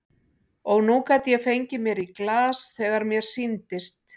Og nú gat ég fengið mér í glas þegar mér sýndist.